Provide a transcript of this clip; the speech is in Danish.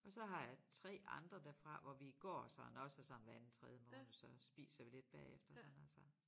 Og så har jeg 3 andre derfra hvor vi går sådan også sådan hver anden tredje måned så spiser vi lidt bagefter sådan noget så